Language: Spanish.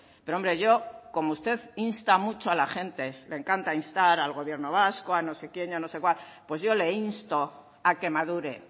pero hombre yo como usted insta mucho a la gente le encanta instar al gobierno vasco a no sé quién y a no sé cuál pues yo le insto a que madure